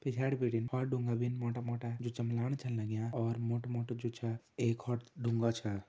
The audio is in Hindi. पिछाड़ी बिटिन और डूंगा भीन मोटा मोटा जु चमलाण छन लंग्या और मोटु मोटु जु छा एक और डूंगा छा।